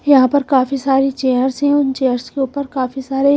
यहां पर काफी सारी चेयर्स हैं उन चेयर्स के ऊपर काफी सारे--